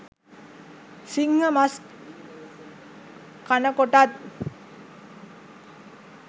සිංහ මස් කනකොටත්